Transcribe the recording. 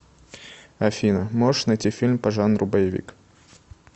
афина можешь найти фильм по жанру боевик